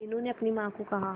मीनू ने अपनी मां को कहा